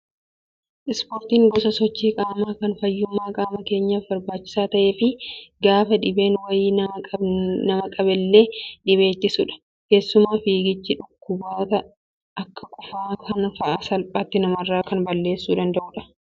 Ispoortiin gosa sochii qaamaa kan fayyummaa qaama keenyaaf barbaachisaa ta'ee fi gaafa dhibeen wayii nama qabnellee dhibee ittisudha. Keessumaa fiigichi dhukkuboota akka qufaan kana fa'aa salphaatti namarraa kan balleessuu danda'udha.